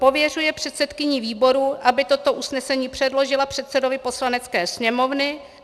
Pověřuje předsedkyni výboru, aby toto usnesení předložila předsedovi Poslanecké sněmovny.